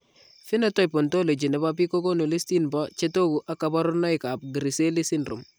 Phenotype ontology nebo biik kokoonu listini bo chetogu ak kaborunoik ab Griscelli syndrome